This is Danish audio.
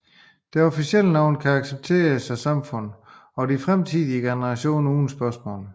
Det officielle navn bliver accepteret af samfundet og fremtidige generationer uden spørgsmål